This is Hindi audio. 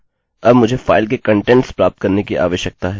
अतःअब मुझे फाइल का कंटेंट्स प्राप्त करने की आवश्यकता है